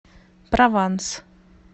прованс